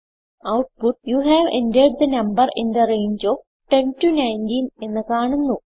output you have entered the number in the range of 10 19 എന്ന് കാണുന്നു